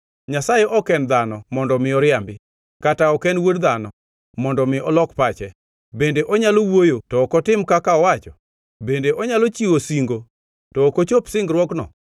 Nyasaye ok en dhano, mondo omi oriambi, kata ok en wuod dhano, mondo omi olok pache. Bende onyalo wuoyo to ok otim kaka owacho? Bende onyalo chiwo singo, to ok ochop singruokno?